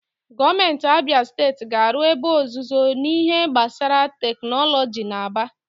Gọọmenti Abịa Steeti ga-arụ ebe ọzụzụ n'ihe gbasara tekinọlọji n'Aba.